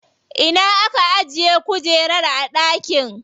Ina aka ajiye kujerar a dakin?